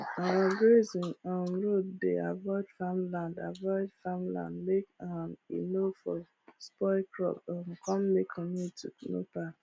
our grazing um road dey avoid farm land avoid farm land make um e nor for spoil crop um come make community no para